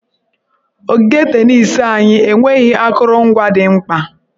Ogige tenis anyị enweghị akụrụngwa dị mkpa.